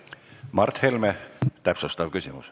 Mart Helme, täpsustav küsimus.